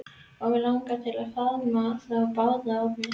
Og mig langar til að faðma þá báða að mér.